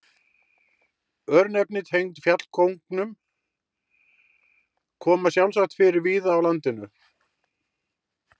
Örnefni tengd fjallkóngum koma sjálfsagt fyrir víða á landinu.